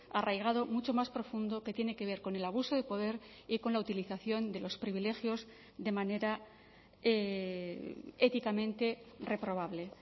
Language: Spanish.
arraigado mucho más profundo que tiene que ver con el abuso de poder y con la utilización de los privilegios de manera éticamente reprobable